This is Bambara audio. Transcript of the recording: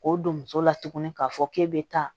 K'o don muso la tuguni k'a fɔ k'e bɛ taa